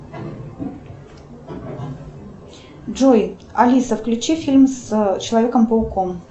джой алиса включи фильм с человеком пауком